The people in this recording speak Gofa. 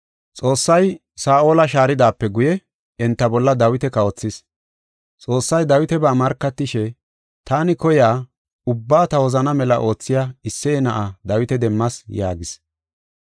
Xoossay Saa7ola shaaridaape guye enta bolla Dawita kawothis. Xoossay Dawitaba markatishe, ‘Taani koyiya ubbaa ta wozanaa mela oothiya Isseye na7aa Dawita demmas’ yaagis.